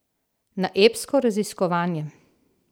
Na epsko raziskovanje!